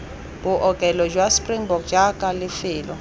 bookelo jwa springbok jaaka lefelo